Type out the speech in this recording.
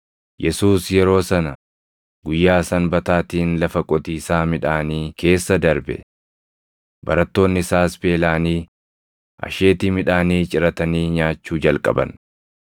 Yesuus yeroo sana guyyaa Sanbataatiin lafa qotiisaa midhaanii keessa darbe. Barattoonni isaas beelaʼanii asheetii midhaanii ciratanii nyaachuu jalqaban.